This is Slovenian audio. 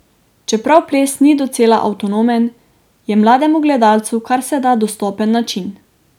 Čeprav ples ni docela avtonomen, je mlademu gledalcu karseda dostopen način.